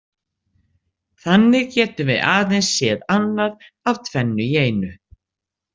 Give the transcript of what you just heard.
Þannig getum við aðeins séð annað af tvennu í einu.